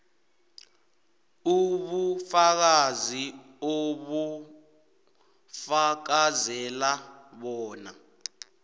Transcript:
ubufakazi obufakazela bona